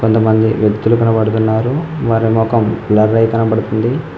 కొంతమంది వ్యక్తులు కనబడుతున్నారు వాళ్ల మొఖం బ్లర్ అయి కనపడుతుంది.